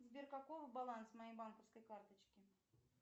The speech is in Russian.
сбер какого баланс моей банковской карточки